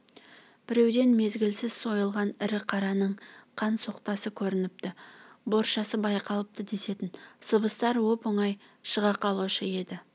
біреуден мезгілсіз сойылған ірі қараның қан соқтасы көрініпті боршасы байқалыпты десетін сыбыстар оп-оңай шыға қалушы еді